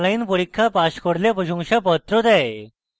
online পরীক্ষা pass করলে প্রশংসাপত্র দেয়